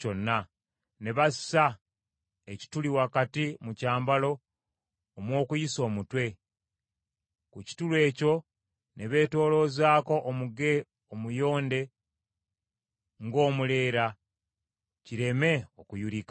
Ne bassa ekituli wakati mu kyambalo omw’okuyisa omutwe. Ku kituli ekyo ne beetooloozaako omuge omuyonde ng’omuleera kireme okuyulika.